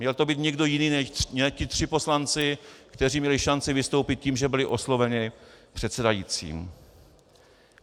Měl to být někdo jiný než ti tři poslanci, kteří měli šanci vystoupit tím, že byli osloveni předsedajícím.